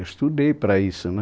Eu estudei para isso, né?